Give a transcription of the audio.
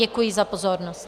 Děkuji za pozornost.